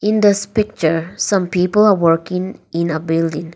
in this picture some people are working in a building.